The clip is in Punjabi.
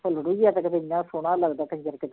ਜਿਹਾ ਕਿਤੇ ਐਨਾ ਸੋਹਣਾ ਲੱਗਦਾ ਕੰਜ਼ਰ ਕਿਤੇ